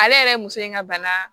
Ale yɛrɛ ye muso ye ka bana